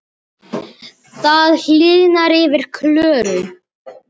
Það hýrnar yfir Klöru.